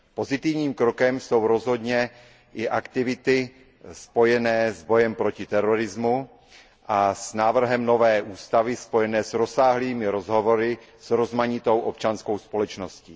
Pozitivním krokem jsou rozhodně i aktivity spojené s bojem proti terorismu a s návrhem nové ústavy spojené s rozsáhlými rozhovory s rozmanitou občanskou společností.